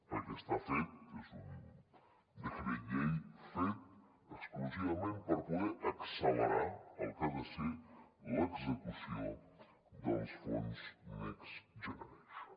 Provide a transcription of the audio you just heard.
perquè està fet és un decret llei fet exclusivament per poder accelerar el que ha de ser l’execució dels fons next generation